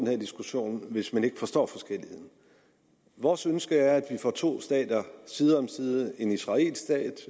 her diskussion hvis man ikke forstår forskelligheden vores ønske er at man får to stater side om side en israelsk stat